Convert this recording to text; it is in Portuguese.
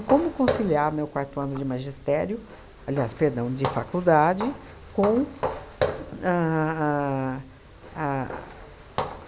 como conciliar meu quarto ano de magistério, aliás, perdão, de faculdade com ahn a a